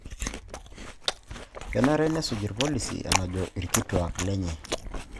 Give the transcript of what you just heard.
kenare nesuj irpolisi enajoli irkituak lenye.